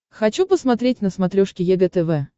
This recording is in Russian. хочу посмотреть на смотрешке егэ тв